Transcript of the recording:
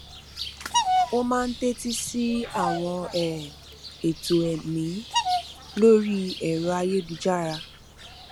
ó máa ń tétí sí àwọn um ètò ẹmí lórí ẹrọ ayélujára